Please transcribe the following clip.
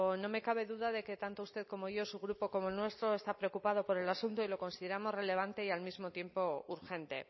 no me cabe duda de que tanto usted como yo su grupo como el nuestro está preocupado por el asunto y lo consideramos relevante y al mismo tiempo urgente